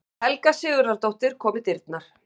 Helga Sigurðardóttir kom í dyrnar.